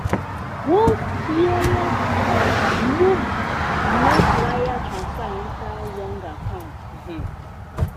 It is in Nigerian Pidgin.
one careless um move make wire transfer enter wrong account. um